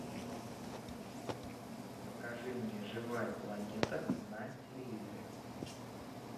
покажи мне живая планета на телевизоре